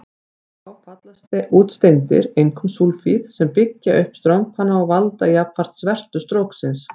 Þá falla út steindir, einkum súlfíð, sem byggja upp strompana og valda jafnframt svertu stróksins.